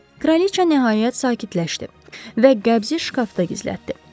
Kraliça nəhayət sakitləşdi və qəbzi şkafda gizlətdi.